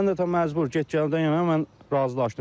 Mən də tam məcbur get gəldən yana mən razılaşdım.